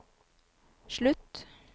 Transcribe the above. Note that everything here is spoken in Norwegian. slutt